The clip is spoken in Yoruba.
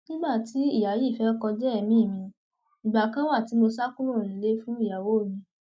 nígbà tí ìyá yìí fẹẹ kọjá èmi mi ìgbà kan wà tí mo sá kúrò nílé fún ìyàwó mi